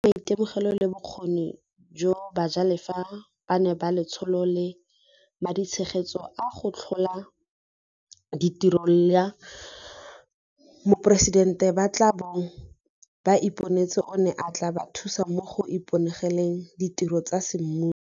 Fela maitemogelo le bokgoni jo bajalefa bano ba Letsholo la Maditshegetso a go Tlhola Ditiro la Moporesitente ba tla bong ba iponetse one a tla ba thusa mo go iponeleng ditiro tsa semmuso.